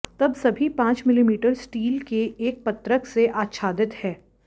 तब सभी पांच मिलीमीटर स्टील के एक पत्रक से आच्छादित है